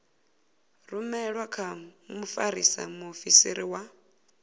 rumelwe kha mfarisa muofisiri wa